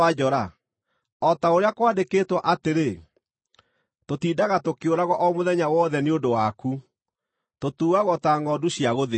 O ta ũrĩa kwandĩkĩtwo atĩrĩ: “Tũtindaga tũkĩũragwo o mũthenya wothe nĩ ũndũ waku; tũtuuagwo ta ngʼondu cia gũthĩnjwo.”